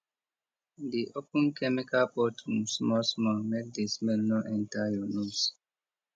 dey open chemical bottle small small make the smell no enter your nose